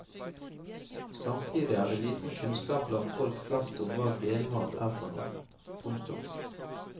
Samtidig er det liten kunnskap blant folk flest om hva genmat er for noe. punktum